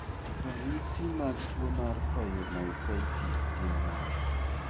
Ranyisi mag tuwo mar pyomyositis gin mage?